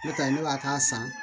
N'o tɛ ne b'a k'a san